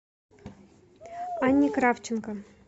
анне кравченко